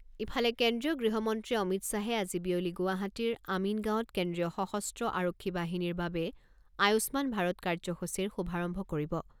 ইফালে, কেন্দ্ৰীয় গৃহমন্ত্ৰী অমিত শ্বাহে আজি বিয়লি গুৱাহাটীৰ আমিনগাঁৱত কেন্দ্ৰীয় সশস্ত্ৰ আৰক্ষী বাহিনীৰ বাবে আয়ুষ্মান ভাৰত কাৰ্যসূচীৰ শুভাৰম্ভ কৰিব।